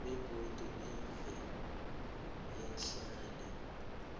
begodu iv ahlale